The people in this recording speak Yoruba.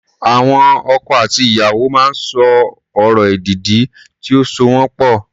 Àwọn ọkọ àti ìyàwó máa ń sọ ọ̀rọ̀ èdìdì tí ó so wọ́n pọ̀.